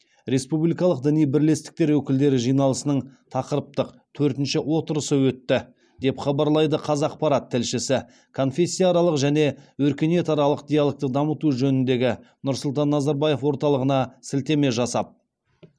республикалық діни бірлестіктер өкілдері жиналысының тақырыптық төртінші отырысы өтті деп хабарлайды қазақпарат тілшісі конфессияаралық және өркениетаралық диалогты дамыту жөніндегі нұрсұлтан назарбаев орталығына сілтеме жасап